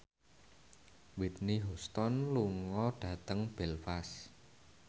Whitney Houston lunga dhateng Belfast